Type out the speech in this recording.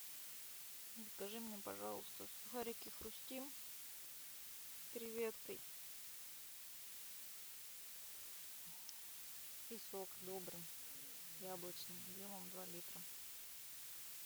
закажи мне пожалуйста сухарики хрустим с креветкой и сок добрый яблочный объемом два литра